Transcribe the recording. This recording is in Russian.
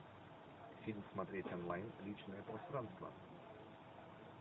фильм смотреть онлайн личное пространство